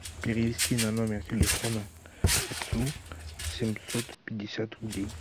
перевести на номер телефона отцу семьсот пятьдесят рублей